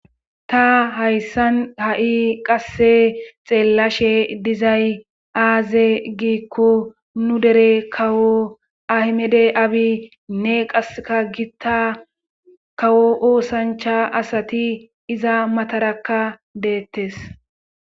ta hayssan ha7i qasse xeellashe dizay aaze giikko nu dere kawo ahmede abi nne qaseka gitta kawo oosancha asati iza matarakka deettes